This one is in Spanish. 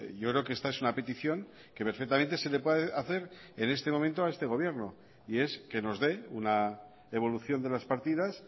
yo creo que esta es una petición que perfectamente se le puede hacer en este momento a este gobierno y es que nos dé una evolución de las partidas